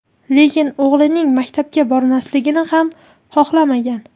Lekin o‘g‘lining maktabga bormasligini ham xohlamagan.